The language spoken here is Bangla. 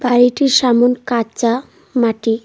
বাড়িটির সামন কাঁচা মাটি।